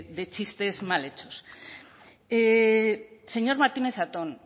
de chistes mal hechos señor martínez zatón